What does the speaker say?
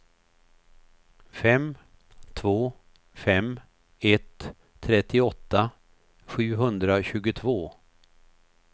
fem två fem ett trettioåtta sjuhundratjugotvå